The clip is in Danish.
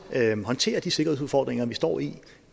håndtere de sikkerhedsudfordringer vi står i